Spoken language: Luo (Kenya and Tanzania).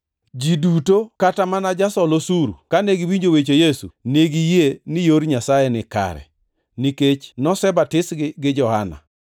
(Ji duto, kata mana jasol osuru, kane giwinjo weche Yesu, ne giyie ni yor Nyasaye ni kare, nikech nosebatisgi gi Johana.